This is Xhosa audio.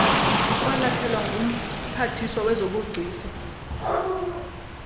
kwalathelwa ngumphathiswa wezobugcisa